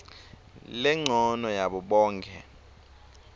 lencono yabo bonkhe